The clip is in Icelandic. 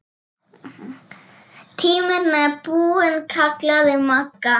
Tíminn er búinn kallaði Magga.